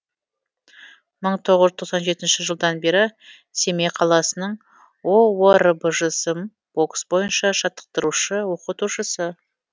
мың тоғыз жүз тоқсан жетінші жылдан бері семей қаласының оорбжсм бокс бойынша жаттықтырушы оқытушысы